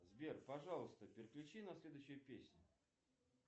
сбер пожалуйста переключи на следующую песню